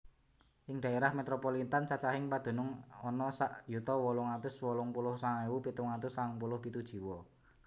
Ing dhaérah metropolitan cacahing padunung ana sak yuta wolung atus wolung puluh sanga ewu pitung atus sangang puluh pitu jiwa